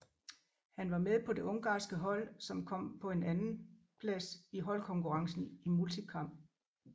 Han var med på det ungarske hold som som kom på en andenplads i holdkonkurrencen i multikamp